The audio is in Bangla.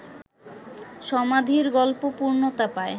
সমাধির গল্প পূর্ণতা পায়